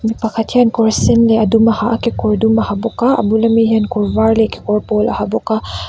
mi pakhat hian kawr sen leh a dum a ha a kekawr dum a ha bawk a a bul ami hian kawr var leh kekawr pawl a ha bawk a.